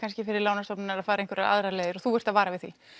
fyrir lánastofnanir að fara einhverjar aðrar leiðir og þú ert að vara við því